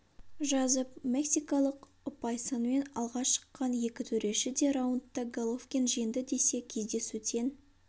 жазып мексикалық ұпай санымен алға шыққан екі төреші де раундта головкин жеңді десе кездесу тең